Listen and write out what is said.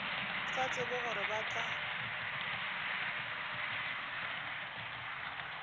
sa tsebe gore ba tla